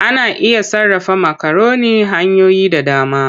Ana iya sarrafa makaroni hanyoyi da dama.